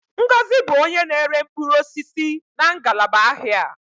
Ngọzi bụ onye na-ere mkpụrụ osisi na ngalaba ahịa a.